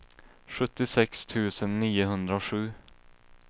sjuttiosex tusen niohundrasju